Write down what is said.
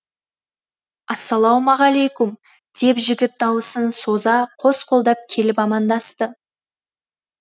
ассалаумағалейкүм деп жігіт дауысын соза қос қолдап келіп амандасты